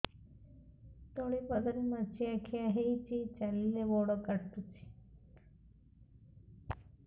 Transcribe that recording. ତଳିପାଦରେ ମାଛିଆ ଖିଆ ହେଇଚି ଚାଲିଲେ ବଡ଼ କାଟୁଚି